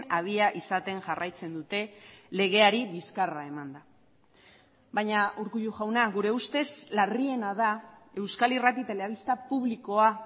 abia izaten jarraitzen dute legeari bizkarra emanda baina urkullu jauna gure ustez larriena da euskal irrati telebista publikoa